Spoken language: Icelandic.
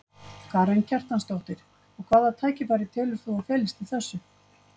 Karen Kjartansdóttir: Og hvaða tækifæri telur þú að felist í þessu?